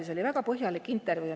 See oli väga põhjalik intervjuu.